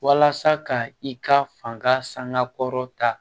Walasa ka i ka fanga sanga kɔrɔ ta